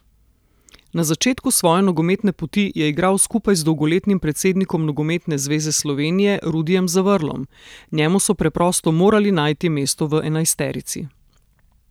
Na začetku svoje nogometne poti je igral skupaj z dolgoletnim predsednikom Nogometne zveze Slovenije Rudijem Zavrlom: 'Njemu so preprosto morali najti mesto v enajsterici.